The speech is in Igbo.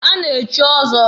A na-echi ọzọ.